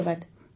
ଧନ୍ୟବାଦ